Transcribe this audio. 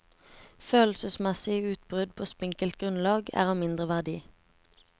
Følelsesmessige utbrudd på spinkelt grunnlag er av mindre verdi.